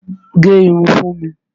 Gẹ irun fún mi!